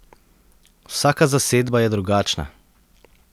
Vsaka zasedba je drugačna.